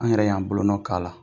An yɛrɛ y'an bolo nɔn k'ala.